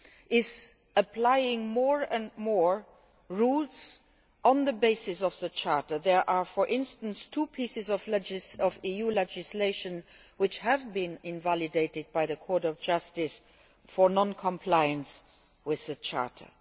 is applying more and more rules on the basis of the Charter. There are, for instance, two pieces of EU legislation which have been invalidated by the Court of Justice for non compliance with the Charter.